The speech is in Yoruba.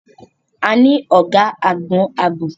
A ní ọ̀gá àgbon ààbò.